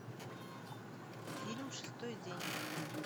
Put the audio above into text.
фильм шестой день